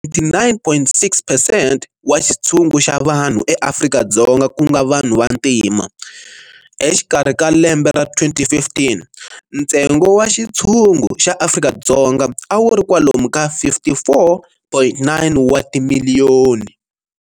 79.6 percent wa xithsungu xa vanhu eAfrika-Dzonga kunga vanhu va ntima, Exikarhi ka lembe ra 2015, nstengo wa xitshungu xa Afrika-Dzonga a wuri kwalomu ka 54.9 wa timilliyoni.